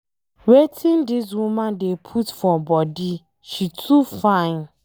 Wetin dis woman dey put for body, she too fine.